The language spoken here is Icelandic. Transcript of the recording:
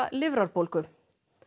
lifrarbólgu